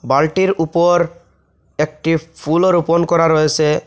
বালটির উপর একটি ফুলও রোপণ করা রয়েসে।